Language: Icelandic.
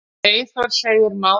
Eyþór segir málið flókið.